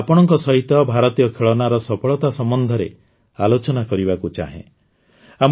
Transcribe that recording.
ମୁଁ ଆଜି ଆପଣଙ୍କ ସହିତ ଭାରତୀୟ ଖେଳନାର ସଫଳତା ସମ୍ବନ୍ଧରେ ଆଲୋଚନା କରିବାକୁ ଚାହେଁ